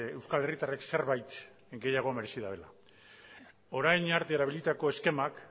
euskal herritarrek zerbait gehiago merezi dutela orain arte erabilitako eskemak